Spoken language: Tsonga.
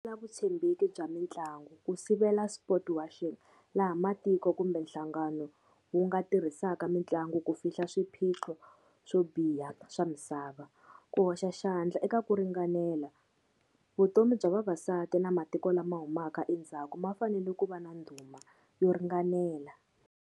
Vutshembeki bya mitlangu, ku sivela sportswashing laha matiko kumbe nhlangano wu nga tirhisaka mitlangu ku fihla swiphiqo swo biha swa misava. Ku hoxa xandla eka ku ringanela, vutomi bya vavasati na matiko lama humaka endzhaku ma fanele ku va na ndhuma yo ringanela.